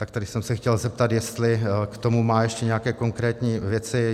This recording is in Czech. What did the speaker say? Tak tady jsem se chtěl zeptat, jestli k tomu má ještě nějaké konkrétní věci.